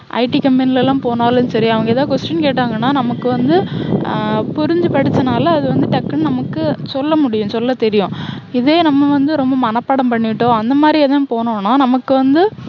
IT company லலாம் போனாலும் சரி, அவங்க எதாவது question கேட்டாங்கன்னா, நமக்கு வந்து ஹம் புரிஞ்சு படிச்சனால டக்குன்னு நமக்கு சொல்ல முடியும். சொல்லத் தெரியும். இதே நம்ம வந்து, ரொம்ப மனப்பாடம் பண்ணிட்டோம், அந்த மாதிரி எதும் போனோன்னா நமக்கு வந்து,